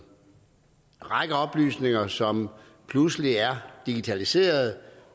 række oplysninger som pludselig er digitaliseret og